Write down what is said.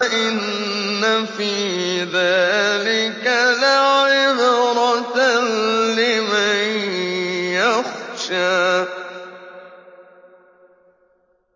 إِنَّ فِي ذَٰلِكَ لَعِبْرَةً لِّمَن يَخْشَىٰ